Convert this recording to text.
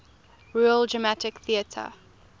royal dramatic theatre